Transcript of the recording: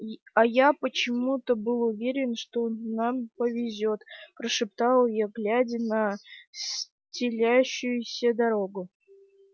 а я почему-то был уверен что нам повезёт прошептал я глядя на стелющуюся дорогу